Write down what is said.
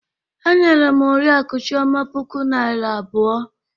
E nyere m Oriakụ Chioma puku Naịra abụọ.